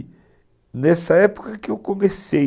E nessa época que eu comecei.